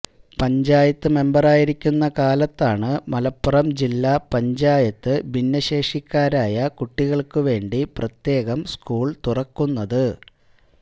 പഞ്ചായത്ത് മെംബറായിരിക്കുന്ന കാലത്താണ് മലപ്പുറം ജില്ല പഞ്ചായത്ത് ഭിന്നശേഷിക്കാരായ കുട്ടികൾക്കുവേണ്ടി പ്രത്യേകം സ്കൂൾ തുറക്കുന്നത്